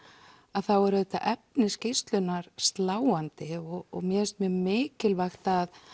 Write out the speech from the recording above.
þá er auðvitað efni skýrslunnar sláandi og mér finnst mjög mikilvægt að